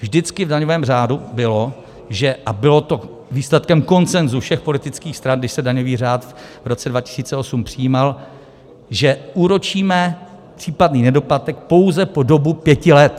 Vždycky v daňovém řádu bylo - a bylo to výsledkem konsenzu všech politických stran, když se daňový řád v roce 2008 přijímal - že úročíme případné nedoplatek pouze po dobu pěti let.